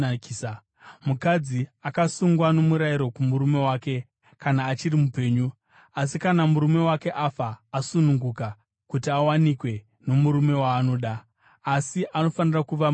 Mukadzi akasungwa nomurayiro kumurume wake kana achiri mupenyu. Asi kana murume wake akafa, asununguka kuti awanikwe nomurume waanoda, asi anofanira kuva muna She.